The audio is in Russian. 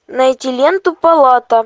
найти ленту палата